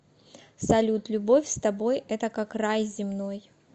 салют любовь с тобой это как рай земной